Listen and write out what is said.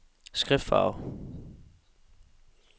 skriftfarve